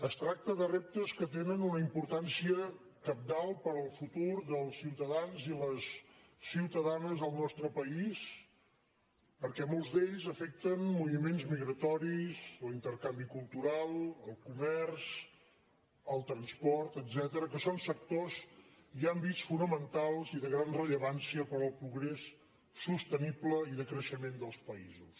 es tracta de reptes que tenen una importància cabdal per al futur dels ciutadans i les ciutadanes del nostre país perquè molts d’ells afecten moviments migratoris o intercanvi cultural el comerç el transport etcètera que són sectors i àmbits fonamentals i de gran rellevància per al progrés sostenible i de creixement dels països